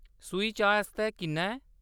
सूही चाही आस्तै किन्ना ऐ ?